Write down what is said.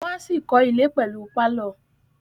Wọ́n á ṣì kọ́ ilẹ̀ pẹ̀lú pálọ̀